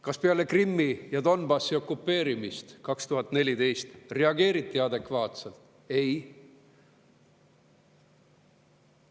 Kas peale Krimmi ja Donbassi okupeerimist 2014 reageeriti adekvaatselt?